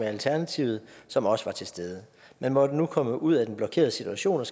alternativet som også var til stede man måtte nu komme ud af den blokerede situation og